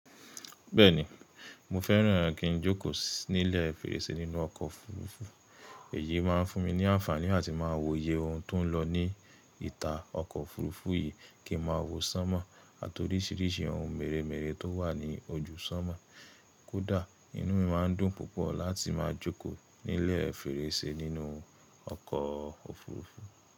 Bẹ́ẹ̀ni, mo fẹ́ràn kí n jókòó nílẹ̀ fèrèsé nínú oko òfurufú. Èyí máa ń fún mi ní àǹfààní àti máa wo iye ohun to ń lo ní ìta ọkọ̀ òfurufú yìí kí n máa wò sánmọ́ àti oríṣìíríṣìí ohun mèremère tó wà ní ojú sánmọ́. Kódà, inú mi máa ń dùn púpọ̀ láti máa jókòó nílẹ̀ fèrèsé nínú oko òfurufú.